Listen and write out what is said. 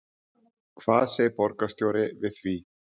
Hvað segir borgarstjóri við því?